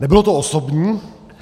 Nebylo to osobní.